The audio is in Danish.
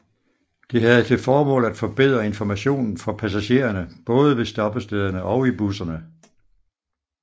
Det havde til formål at forbedre informationen for passagererne både ved stoppestederne og i busserne